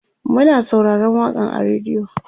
Muna sauraron waƙan a radio